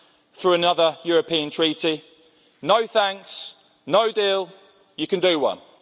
plus through another European treaty no thanks, no deal, you can do one.